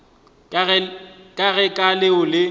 ka ge ka leo le